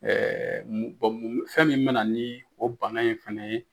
Ɛɛ fɛn min be na ni o bana in fɛnɛ ye.